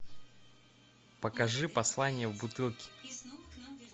покажи послание в бутылке